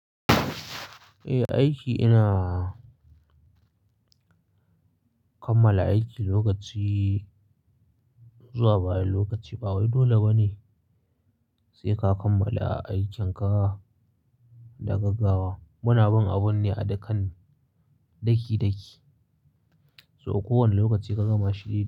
Eh aiki ina kammala aiki lokaci zuwa baya lokaci ba wai dole bane sai ka kammala aikin ka da gaggawa. Muna bin abun ne a dakan daki daki, so kowane lokaci ka gama shi.